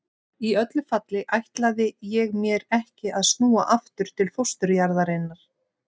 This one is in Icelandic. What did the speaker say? Í öllu falli ætlaði ég mér ekki að snúa aftur til fósturjarðarinnar.